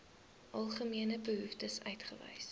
algemene behoeftes uitwys